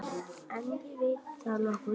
En veit það nokkur?